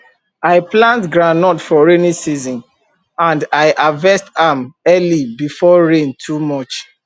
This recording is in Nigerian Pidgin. i plant groundnut for rainy season and i harvest am early before rain too much